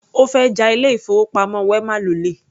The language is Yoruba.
Ó fẹ́ ja ilé-ìfowópamọ́ wema lólè.